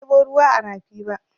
Ban ɗebo ruwa a rafi ba.